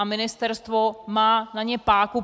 A ministerstvo má na ně páku.